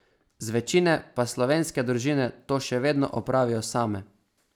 Zvečine pa slovenske družine to še vedno opravijo same.